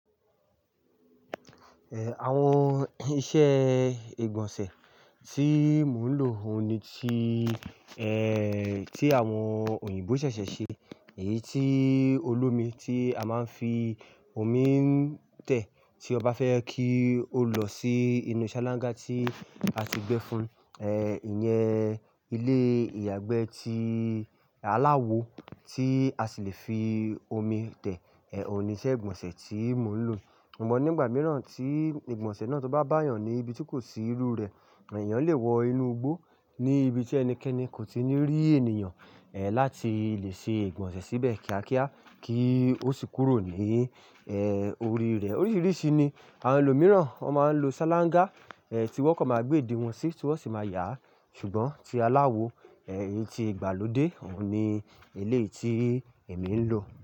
Àwọn iṣẹ́ ìgbọ̀nsẹ̀ tí mò ń lò òun ni tí, tí àwọn òyìnbó ṣẹ̀ṣẹ̀ ṣe, èyí tí olómi tí a máa ń fi omi ń tẹ̀ tí ọba fẹ́ kí ó lọ sí inú ṣálángá tí a ti gbẹ fun, ìyẹn ilé ìyàgbẹ́ tí aláwo tí a sì le fi omi tẹ̀, òun ni iṣẹ́ ìgbọ̀nsẹ̀ tí mò ń lò. Ṣùgbọ́n nígbà mìíràn tí ìgbọ̀nsẹ̀ náà tó bá bá àyàn ní ibi tí kò sí irú rẹ̀, èèyàn lè wọ inú igbó ní ibi tí ẹnikẹ́ni kò ti ní rí ènìyàn, láti lè ṣe ìgbọ̀nsẹ̀ síbẹ̀ kíákíá kí ó sì kúrò ní, orí rẹ̀. Oríṣìíríṣìí ni àwọn ẹlòmíràn máa ń lo ṣálángá, tí wọ́n kọ́ máa gbé ìdí wọn sí, tí wọ́n sì máa yà á, ṣùgbọ́n tí aláwo, èyí tí ìgbàlódé òun ni eleyi tí èmi ń lò.